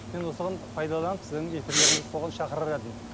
мен осыған пайдаланып сіздің эфирлеріңізді соған шақырар едім